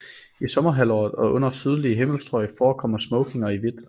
I sommerhalvåret og under sydlige himmelstrøg forekommer smokinger i hvidt